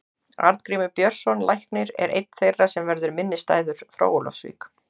Arngrímur Björnsson læknir er einn þeirra sem verður minnisstæður frá Ólafsvík.